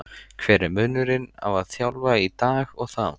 Hver er munurinn á að þjálfa í dag og þá?